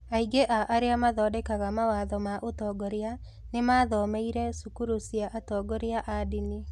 Aingĩ a arĩa maathondekaga mawatho ma ũtongoria nĩ maathomeire cukuru cia atongoria a ndini.